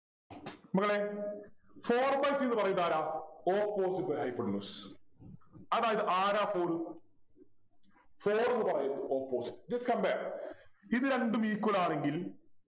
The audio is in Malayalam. മക്കളെ four by three ന്നു പറയുന്നതാരാ Opposite by hypotenuse അതായത് ആരാ four four എന്ന് പറയുമ്പോ Opposite just compare ഇതുരണ്ടും equal ആണെങ്കിൽ